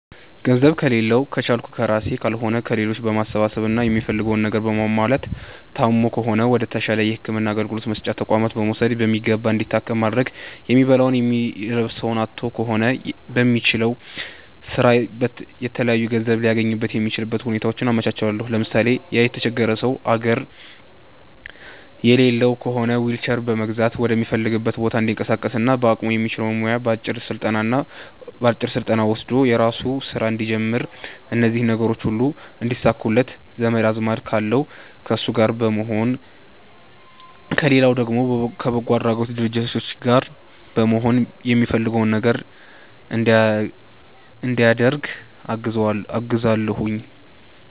ገንዘብ ከሌላዉ ከቻልኩ ከራሴ ካልሆነ ከሌሎች በማሰባሰብ እና የሚፈልገዉን ነገር ማሟላት ታሞ ከሆነ ወደ ተሻለ የህክምና አገልግሎት መስጫ ተቋማት በመዉሰድ በሚገባ እንዲታከም ማድረግ የሚበላዉ የሚለብሰዉ አጥቶ ከሆነ በሚችለዉ ስራ የተለያዩ ገንዘብ ሊያገኝበት የሚችልበትን ሁኔታዎች አመቻቻለሁ ለምሳሌ፦ ያ የተቸገረ ሰዉ አግር የሌለዉ ከሆነ ዊልቸር በመግዛት ወደሚፈልገዉ ቦታ እንዲንቀሳቀስና በአቅሙ የሚችለዉ ሙያ አጭር ስልጠና ወስዶ የራሱን ስራ እንዲጀምር እነዚህ ነገሮች ሁሉ እንዲሳኩለት ዘመድ አዝማድ ካለዉ ከነሱ ጋር በመሆን ከሌለዉ ደግሞ ከበጎ አድራጊ ድርጅት ጋር በመሆን የሚፈልገዉ ነገር እንዲያደርግ አግዛለሁኝ